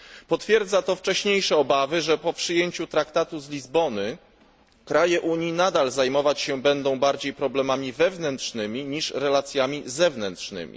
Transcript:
Potwierdza to wcześniejsze obawy, że po przyjęciu traktatu z Lizbony kraje Unii nadal zajmować się będą bardziej problemami wewnętrznymi niż relacjami zewnętrznymi.